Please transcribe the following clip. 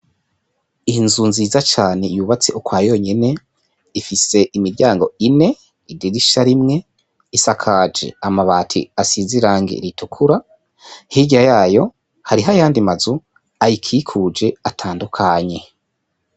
Inzu nziza cane yubatse ukwayonyene ifise imiryango ine n'idirisha rimwe isakaje amabati asize irangi ritukura hirya yayo hariho ayandi mazu ayikikuje atandukanye.